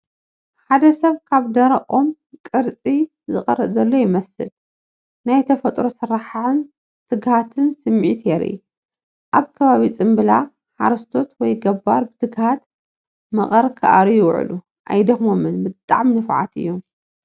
ሓደ ሰብ ካብ ደረቕ ኦም ቅርጺ ዝቐርጽ ዘሎ ይመስል። ናይ ተፈጥሮ ስራሕን ትግሃትን ስምዒት የርኢ። ኣብ ከባቢ ፅምብላ ሓረስቶት ወይ ገባር ብትግሃት መቐር ክኣርዩ ይውዕሉ፣ ኣይደኽሞምን ብጣዕሚ ንፉዓት እዮም፡፡